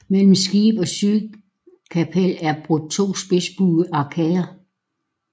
Mellem skib og sydkapel er brudt to spidsbuede arkader